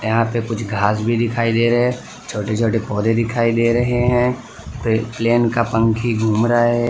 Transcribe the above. यहाँ पे कुछ घास भीं दिखाई दे रहें हैं छोटे छोटे पौधे दिखाई दे रहें हैं पे प्लेन का पंखी घूम रहा है।